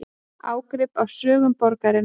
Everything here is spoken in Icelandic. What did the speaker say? Ágrip af sögu borgarinnar